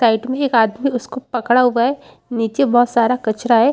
Side में एक आदमी उसको पकड़ा हुआ है नीचे बहुत सारा कचरा है।